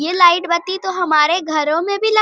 ये लाइट बत्ती तो हमारे घरो में भी ल --